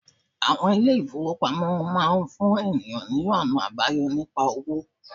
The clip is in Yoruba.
Àwon ilé ìfowópamọ́ máa fún ènìyàn ní ònà àbáyọ nípa owó